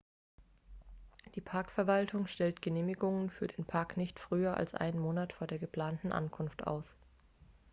die parkverwaltung minae stellt genehmigungen für den park nicht früher als einen monat vor der geplanten ankunft aus